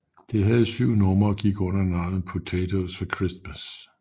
Det havde syv numre og gik under navnet Potatoes for Christmas